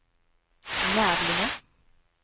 Nävlinge